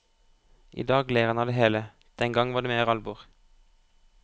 I dag ler han av det hele, den gang var det mer alvor.